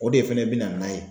O de fɛnɛ bi na n'a ye.